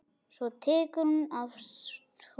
Svo tekur hún af skarið.